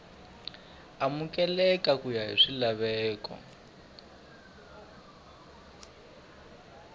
amukeleka ku ya hi swilaveko